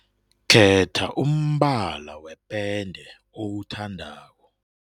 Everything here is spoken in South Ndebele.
Khetha umbala wepende owuthandako.